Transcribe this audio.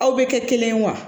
Aw bɛ kɛ kelen ye wa